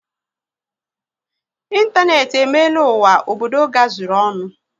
Ịntanetị emeela ụwa obodo gazuru ọnụ